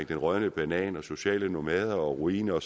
den rådne banan og sociale nomader og ruiner